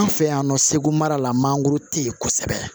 An fɛ yan nɔ segu mara la mangoro te yen kosɛbɛ